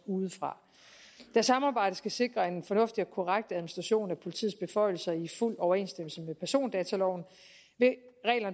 udefra da samarbejdet skal sikre en fornuftig og korrekt administration af politiets beføjelser i fuld overensstemmelse med persondataloven